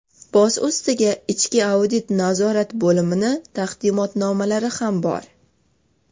Boz ustiga, ichki audit nazorat bo‘limini taqdimnomalari ham bor.